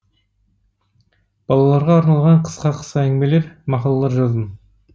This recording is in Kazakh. балаларға арналған қысқа қысқа әңгімелер мақалалар жаздым